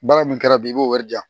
Baara min kɛra bi i b'o wari di yan